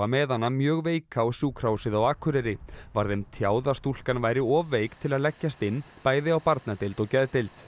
með hana mjög veika á Sjúkrahúsið á Akureyri var þeim tjáð að stúlkan væri of veik til að leggjast inn bæði á barnadeild og geðdeild